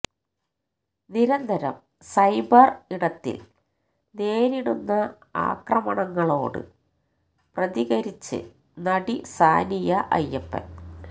നിരന്തരം സൈബര് ഇടത്തില് നേരിടുന്ന ആക്രമണങ്ങളോട് പ്രതികരിച്ചിരിച്ച് നടി സാനിയ അയ്യപ്പന്